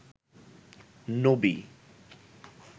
নবী